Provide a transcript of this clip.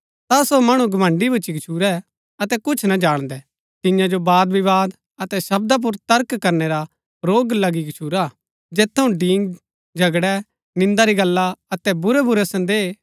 ता सो मणु घमण्‍ड़ी भुच्‍ची गच्छुरै अतै कुछ ना जाणदै तिन्या जो वादविवाद अतै शब्दा पुर तर्क करनै रा रोग लगी गछूरा हा जैत थऊँ डींग झगड़ै निन्दा री गल्ला अतै बुरैबुरै सन्‍देह